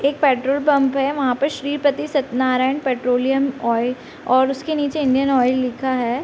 एक petrol pump है वहां पर Shripati Satyanarayan petroleum oil और उसके नीचे इंडियन ऑयल लिखा है।